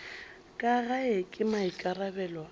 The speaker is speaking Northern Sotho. ka gae ke maikarabelo a